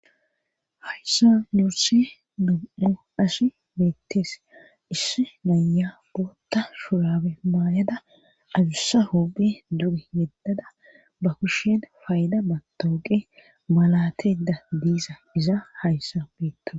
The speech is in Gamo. hayssa nuursi mum7hu ashi beettees issi naya bootta shurabe maayada adussa hu7i duri yeddada ba kushen faayda matooqe malateda diisa iza hayssa beetto